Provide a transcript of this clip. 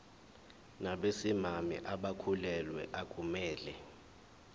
nabesimame abakhulelwe akumele